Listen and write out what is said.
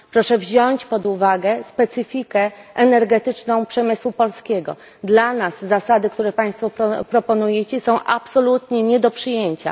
Proszę wziąć pod uwagę specyfikę energetyczną przemysłu polskiego dla nas zasady, które Państwo proponują, są absolutnie nie do przyjęcia.